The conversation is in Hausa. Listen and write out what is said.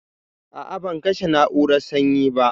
A a ban kashe na'urar sanyi ba.